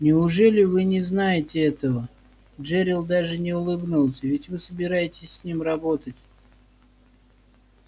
неужели вы не знаете этого джерилл даже не улыбнулся ведь вы собираетесь с ним работать